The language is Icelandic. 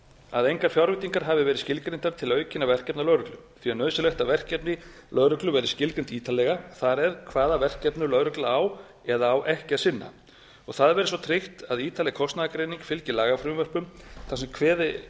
að engar fjárveitingar hafi verið skilgreindar til aukinna verkefna lögreglu því er nauðsynlegt að verkefni lögreglu verði skilgreind ítarlega það er hvaða verkefnum lögregla á eða á ekki að sinna og það verði svo tryggt að ítarleg kostnaðargreining fylgi lagafrumvörpum þar sem